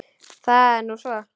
Það er nú svo.